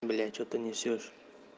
блять что ты несёшь